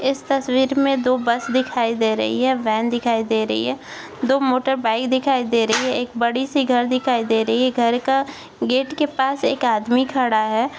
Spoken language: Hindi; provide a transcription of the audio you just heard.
इस तस्वीर में दो बस दिखाई दे रही है वैन दिखाई दे रही है दो मोटरबाईक दिखाई दे रही है एक बड़ी सी घर दिखाई दे रही है घर का गेट के पास एक आदमी खड़ा है।